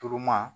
Turuman